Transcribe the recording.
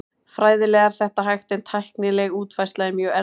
Fræðilega er þetta hægt en tæknileg útfærsla er mjög erfið.